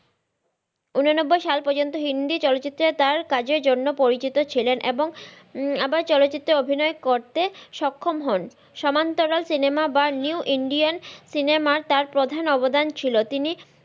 উন নব্বই সাল পর্যন্ত হিন্দি চলচিত্রে তার কাজের জন্য পরিচিত ছিলেন এবং আবার চলচিত্রে অভিনয় করতে সক্ষম হন সমান্তরাল সিনেমা বা নিউ ইন্ডিয়ান সিনেমা এর তার প্রাধান অবদান ছিল।